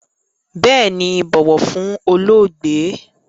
Bééni, bọ̀wọ̀ fún olóògbé!